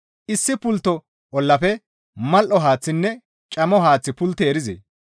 Issi pultto ollafe mal7o haaththinne camo haaththi pultti erizee?